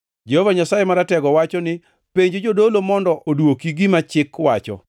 “Jehova Nyasaye Maratego wacho ni, ‘Penj jodolo mondo odwoki gima chik wacho: